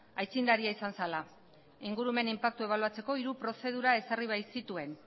aitzindaria izan zela ingurumen inpaktua ebaluatzeko hiru prozedura ezarri baitzituen